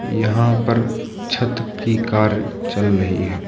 यहां पर छत की कार्य चल रही है।